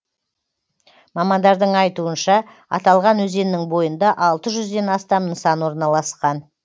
мамандардың айтуынша аталған өзеннің бойында алты жүзден астам нысан орналасқан